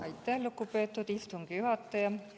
Aitäh, lugupeetud istungi juhataja!